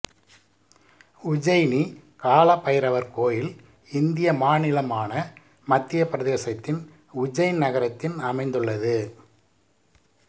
உஜ்ஜைனி காலபைரவர் கோயில் இந்திய மாநிலமான மத்தியப் பிரதேசத்தின் உஜ்ஜைன் நகரத்தின் அமைந்துள்ளது